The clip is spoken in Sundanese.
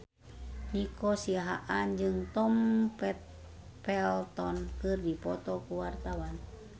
Nico Siahaan jeung Tom Felton keur dipoto ku wartawan